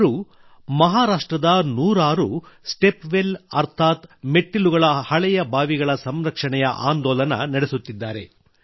ಅವರು ಮಹಾರಾಷ್ಟ್ರದ ನೂರಾರು ಸ್ಟೆಪ್ ವೆಲ್ ಅರ್ಥಾತ್ ಮೆಟ್ಟಿಲುಗಳುಳ್ಳ ಹಳೆಯ ಬಾವಿಗಳ ಸಂರಕ್ಷಣೆಯ ಆಂದೋಲನ ನಡೆಸುತ್ತಿದ್ದಾರೆ